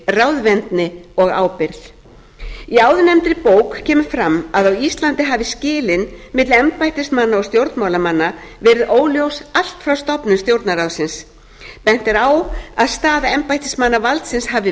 ráðvendni og ábyrgð í áðurnefndri bók kemur fram að á íslandi hafi skilin milli embættismanna og stjórnmálamanna verið óljós allt frá stofnun stjórnarráðsins bent er á að staða embættismannavaldsins hafi